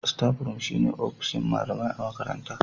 Staff room shine ofishin malamai a makaranta